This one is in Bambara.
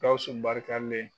Gawuwu barikalen